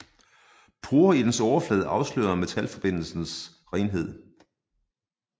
Porer i dens overflade afslørede metalforbindelsens renhed